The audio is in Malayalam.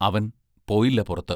അവൻ പോയില്ലപ്പുറത്ത്?